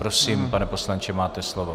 Prosím, pane poslanče, máte slovo.